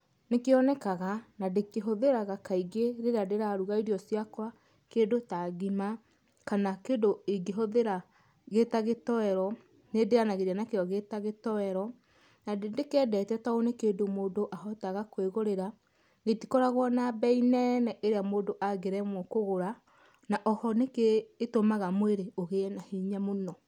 Nĩ kĩonekaga. Na ndĩkĩhũthĩraga kaingĩ rĩrĩa ndĩraruga irio ciakwa, kĩndũ ta ngima, kana kĩndũ ingĩhũthĩra gĩta gĩtoero. Nĩ ndĩanagĩria nakĩo gĩta gĩtoero. Na nĩndĩkĩendete to nĩ kĩndũ mũndũ ahotaga kwĩgũrĩra, gĩtikoragwo na mbei nene ĩrĩa mũndũ angĩremwo kũgũra, na oho nĩ kĩtũmaga mwĩrĩ ũgĩe na hinya mũno.